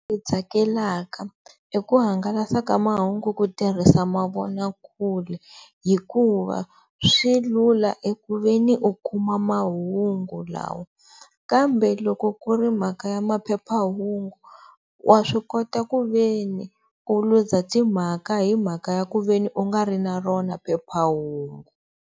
Tsakelaka i ku hangalasa ka mahungu ku tirhisa mavonakule hikuva swi lula eku ve ni u kuma mahungu lawa, kambe loko ku ri mhaka ya maphephahungu wa swi kota ku ve ni u lose-a timhaka hi mhaka ya ku ve ni u nga ri na rona phephahungu.